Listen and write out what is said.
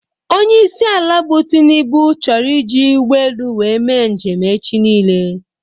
Onyeisi ala bụ Tinubu chọrọ iji ụgbọelu wee mee njem echi nile